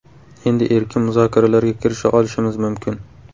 Endi erkin muzokaralarga kirisha olishimiz mumkin.